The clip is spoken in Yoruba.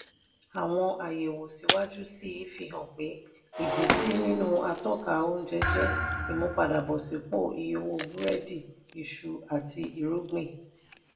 àwọn àyẹ̀wò síwájú sí i fi hàn pé ìbísí nínú atọ́ka oúnjẹ jẹ́ ìmúpadàbọ̀sípò iye owó búrẹ́dì isu àti irúgbìn.